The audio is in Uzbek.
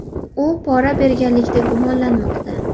U pora berganlikda gumonlanmoqda.